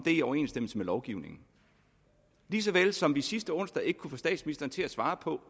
i overensstemmelse med lovgivningen lige så vel som vi sidste onsdag ikke kunne få statsministeren til at svare på